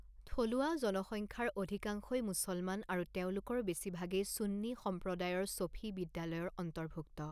থলুৱা জনসংখ্যাৰ অধিকাংশই মুছলমান আৰু তেওঁলোকৰ বেছিভাগেই চুন্নী সম্প্ৰদায়ৰ শফি বিদ্যালয়ৰ অন্তৰ্ভুক্ত।